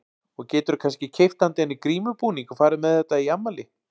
Og geturðu kannski keypt handa henni grímubúning og farið með henni í þetta afmæli?